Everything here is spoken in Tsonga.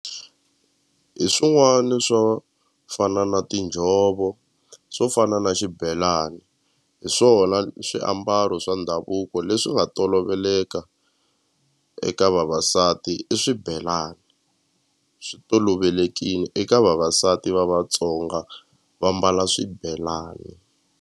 Hi swin'wani swo fana na tinjhovo swo fana na xibelani hi swona swiambalo swa ndhavuko leswi nga toloveleka eka vavasati i swibelani swi tolovelekini eka vavasati va Vatsonga va mbala swibelani.